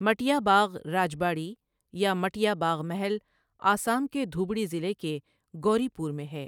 مٹیا باغ راجباڑی یا مٹیا باغ محل آسام کے دھوبڑی ضلع کے گوری پور میں ہے۔